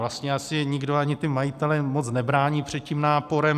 Vlastně asi nikdo, ani ti majitelé moc nebrání před tím náporem.